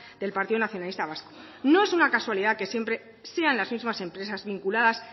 del partido nacionalista vasco no es una casualidad que siempre sean las mismas empresas vinculadas